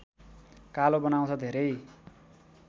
कालो बनाउँछ धेरै